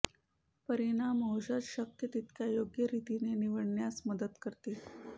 परिणाम औषध शक्य तितक्या योग्य रीतीने निवडण्यास मदत करतील